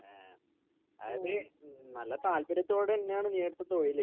ഏഹ് അത് ഉം നല്ല താൽപര്യത്തോടെന്നെയാണ് നീയെടുത്ത തൊഴില്.